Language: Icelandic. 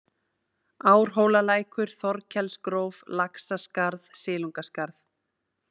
Árhólalækur, Þorkelsgróf, Laxaskarð, Silungaskarð